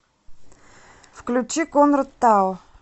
включи конрад тао